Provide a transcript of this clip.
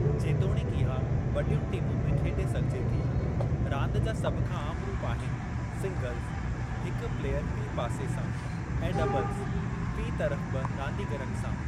जेतोणीकि इहा वॾीयुनि टीमुनि में खेॾे सघिजे थी, रांदि जा सभ खां आम रूपु आहिनि सिंग्लज़ (हिक प्लेयर फ़ी पासे सां ऐं डबलज़ (फ़ी तरफ़ ॿि रांदीगरनि सां)।